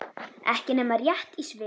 Ekki nema rétt í svip.